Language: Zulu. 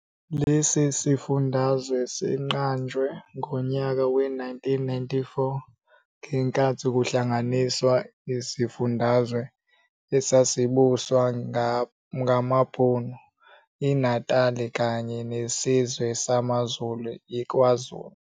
Lesi sifundazwe siqanjwe ngonyaka we-1994, ngenkathi kuhlanganiswa isifundazwe esasibuswa ngaBhunu iNatali kanye nesizwe samaZulu iKwaZulu.